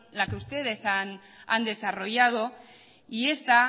la que ustedes han desarrollado y